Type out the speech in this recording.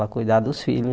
Para cuidar dos filhos